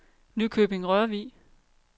Nykøbing-Rørvig